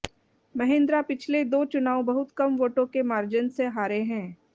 महेंद्रा पिछले दो चुनाव बहुत कम वोटों के मार्जन से हारे हैं